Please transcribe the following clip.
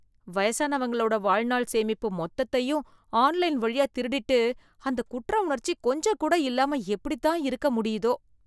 வயசானவங்களோட வாழ்நாள் சேமிப்பு மொத்தத்தையும் ஆன்லைன் வழியா திருடிட்டு, அந்த குற்ற உணர்ச்சி கொஞ்சம் கூட இல்லாம எப்படித்தான் இருக்க முடியுதோ.